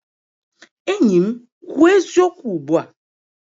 Enyi m kwuo eziokwu ugbu a!